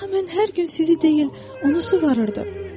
Axı mən hər gün sizi deyil, onu suvarırdım.